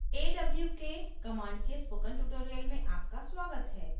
awk command के spoken tutorial में आपका स्वागत है